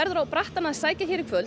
á brattann að sækja hér í kvöld